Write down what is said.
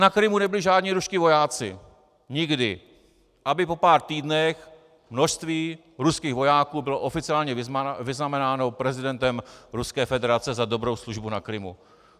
Na Krymu nebyli žádní ruští vojáci, nikdy - aby po pár týdnech množství ruských vojáků bylo oficiálně vyznamenáno prezidentem Ruské federace za dobrou službu na Krymu.